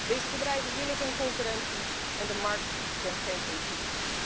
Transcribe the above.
Deze bedrijven willen geen concurrentie en de markt kent geen ethiek.